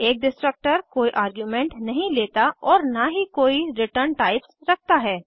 एक डिस्ट्रक्टर कोई आर्ग्यूमेंट्स नहीं लेता और न ही कोई रिटर्न टाइप्स रखता है